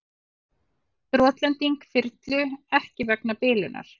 Brotlending þyrlu ekki vegna bilunar